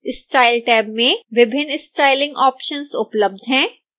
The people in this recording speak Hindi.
style टैब में विभिन्न स्टाइलिंग ऑप्शन्स उपलब्ध हैं